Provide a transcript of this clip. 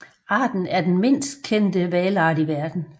Arten er den mindst kendte hvalart i verden